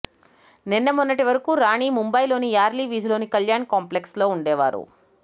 నిన్న మొన్నటి వరకు రాణి ముంబయిలోని యార్లీ వీధిలోని కళ్యాణ్ కాంప్లెక్స్లో వుండేవారు